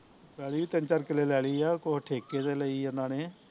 ਪੈਲੀ ਵੀ ਤਿੰਨ ਚਾਰ ਕਿਲੇ ਲੈ ਲਈ ਆ ਕੁਸ਼ ਠੇਕੇ ਤੇ ਲਈ ਆ ਏਹਨਾ ਨੇ